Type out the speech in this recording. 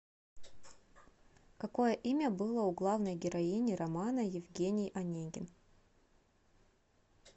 какое имя было у главной героини романа евгений онегин